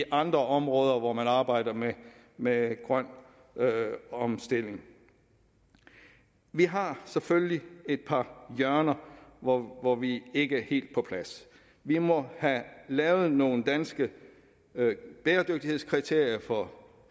andre områder hvor man arbejder med grøn omstilling vi har selvfølgelig et par hjørner hvor hvor vi ikke er helt på plads vi må have lavet nogle danske bæredygtighedskriterier for